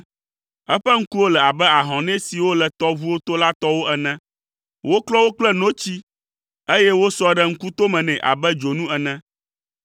Eƒe ŋkuwo le abe ahɔnɛ siwo le tɔʋuwo to la tɔwo ene, woklɔ wo kple notsi, eye wosɔ ɖe ŋkutome nɛ abe dzonu ene.